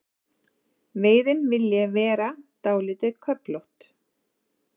Veiðin vilji vera dálítið köflótt.